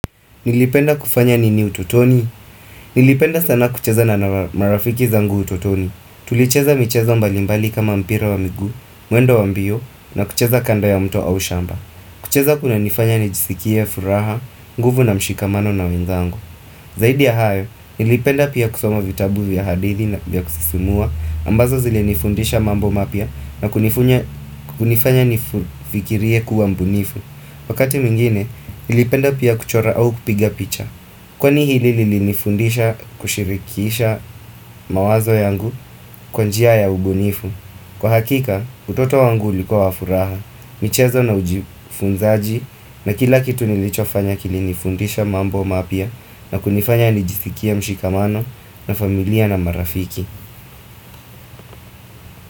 Nilipenda kufanya nini utotoni? Nilipenda sana kucheza na marafiki zangu utotoni. Tulicheza michezo mbalimbali kama mpira wa miguu, muendo wa mbio na kucheza kando ya mto au shamba. Kucheza kunanifanya nijisikie, furaha, nguvu na mshikamano na wenzangu. Zaidi ya hayo, nilipenda pia kusoma vitabu vya hadithi vya kusisumua ambazo zilenifundisha mambo mapya nakunifanya kunifanya nifikirie kuwa mbunifu Wakati mwingine, nilipenda pia kuchora au kupiga picha Kwa hili lilinifundisha kushirikisha mawazo yangu kwa njia ya ubunifu Kwa hakika, utoto wangu ulikuwa wa furaha, michezo na ujifunzaji na kila kitu nilichofanya kilinifundisha mambo mapya na kunifanya nijisikie mshikamano na familia na marafiki.